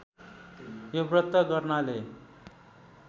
यो व्रत गर्नाले